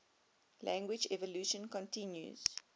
language evolution continues